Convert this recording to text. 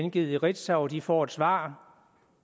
gengivet i ritzau og de får et svar